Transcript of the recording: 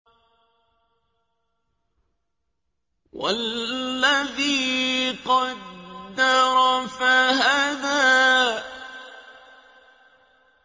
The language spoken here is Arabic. وَالَّذِي قَدَّرَ فَهَدَىٰ